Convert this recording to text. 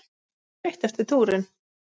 Helga: Ertu þreyttur eftir túrinn?